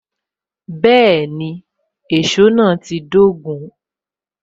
Bẹẹni, èsó náà ti dogun